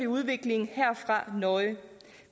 udviklingen nøje